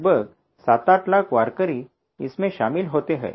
लगभग 78 लाख वारकरी इसमें शामिल होते हैं